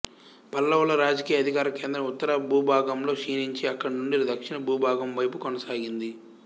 పల్లవుల రాజకీయ అధికార కేంద్రం ఉత్తర భూభాగంలో క్షీణించి అక్కడి నుండి దక్షిణ భూభాగం వైపు కొనసాగింది